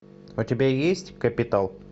у тебя есть капитал